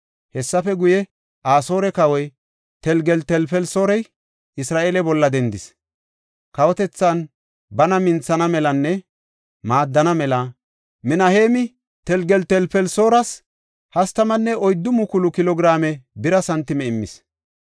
Hessafe guye, Asoore kawoy Telgeltelfelisoori Isra7eele bolla dendis. Kawotethan bana minthana melanne maaddana mela, Minaheemi Telgeltelfelisooras 34,000 kilo giraame bira santime immis.